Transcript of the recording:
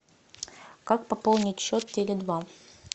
как пополнить счет теле два